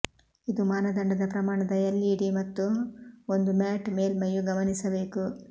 ಇದು ಮಾನದಂಡದ ಪ್ರಮಾಣದ ಎಲ್ಇಡಿ ಮತ್ತು ಒಂದು ಮ್ಯಾಟ್ ಮೇಲ್ಮೈಯು ಗಮನಿಸಬೇಕು